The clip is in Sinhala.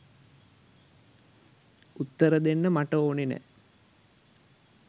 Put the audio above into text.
උත්තර දෙන්න මට ඕනේ නෑ.